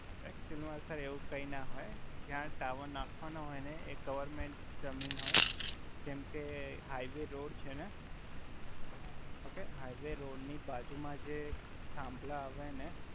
actual મા sir એવુ કાઇ ના હોય જ્યા ટાવર નખ્વાના હોય એ ગવર્મેંટ જમીન હોય જેમ કે હાઈવે રોડ છે ને ઓકે હાઈવે રોડ ની બાજુમા જ એક થાંભલા આવે ને